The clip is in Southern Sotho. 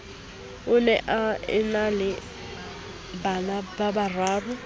o ne a enale banababararo